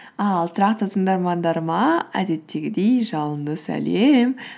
ал тұрақты тыңдармандарыма әдеттегідей жалынды сәлем